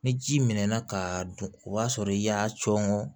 Ni ji mɛnna k'a dun o b'a sɔrɔ i y'a cɔn